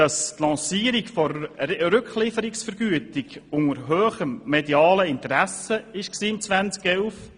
Die Lancierung der Rücklieferungsvergütung erfolgte unter grossem medialem Interesse im Jahr 2011.